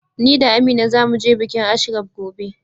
Ni da Amina za mu je bikin Ashraf gobe.